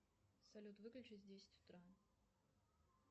салют выключись в десять утра